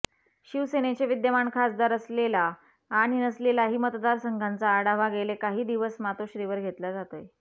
शिवसेनेचे विद्यमान खासदार असलेला आणि नसलेलाही मतदारसंघांचा आढावा गेले काही दिवस मातोश्रीवर घेतला जातोय